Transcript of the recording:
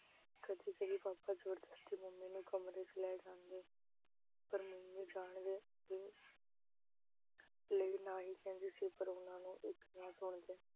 ਕਦੀ-ਕਦੀ papa ਜ਼ਬਰਦਸਤੀ mummy ਨੂੰ ਕਮਰੇ ਚ ਲੈ ਜਾਂਦੇ ਪਰ mummy ਜਾਣ ਅਹ ਕੇ ਮੇਰੇ ਨਾਲ ਹੀ ਪੈਂਦੀ ਸੀ, ਪਰ ਉਹਨਾਂ ਦੀ ਇੱਕ ਨਾ ਸੁਣਦੇ